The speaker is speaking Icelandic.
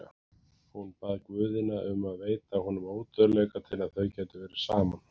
Hún bað guðina um að veita honum ódauðleika til að þau gætu verið saman.